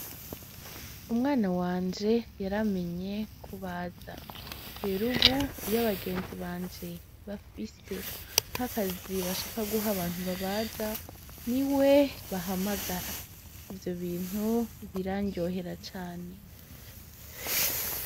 Umwana wanje yaramenye kubaza. Rero ubu iyo abagenzi banje bafise nkakazi bashaka guha abantu babaza niwe bahamagara. Ivyo bintu biraryohera cane.